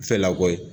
Fɛlako ye